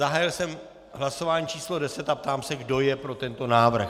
Zahájil jsem hlasování číslo 10 a ptám se, kdo je pro tento návrh.